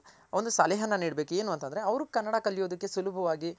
ಒಂದು ಸಲಹೆನ ನೀಡಬೇಕು ಏನು ಅಂತ ಅಂದ್ರೆ ಅವ್ರ್ ಕನ್ನಡ ಕಲಿಯೋದಕ್ಕೆ ಸುಲಭವಾಗಿ